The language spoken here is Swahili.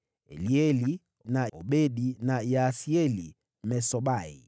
Elieli, na Obedi na Yaasieli Mmesobai.